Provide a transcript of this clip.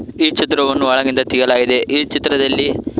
ಈ ಚಿತ್ರವನ್ನು ಒಳಗಿಂದ ತೆಗೆಯಲಾಗಿದೆ ಈ ಚಿತ್ರದಲ್ಲಿ--